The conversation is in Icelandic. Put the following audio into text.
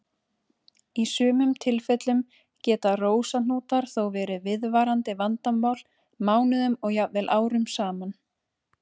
Í sumum tilfellum geta rósahnútar þó verið viðvarandi vandamál mánuðum og jafnvel árum saman.